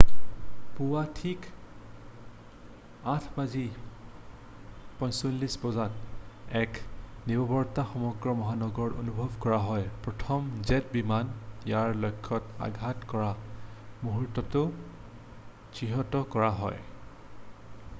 পুৱা ঠিক 8:46 বজাত এক নিৰৱতা সমগ্ৰ মহানগৰত অনুভৱ কৰা হয় প্ৰথম জেট বিমানে ইয়াৰ লক্ষ্যত আঘাত কৰা মূহুৰ্তটো চিহ্নিত কৰা হয়